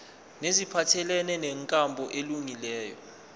neziphathelene nenkambo elungileyo